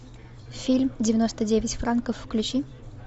фильм девяносто девять франков включи